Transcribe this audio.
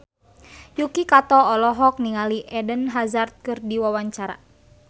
Yuki Kato olohok ningali Eden Hazard keur diwawancara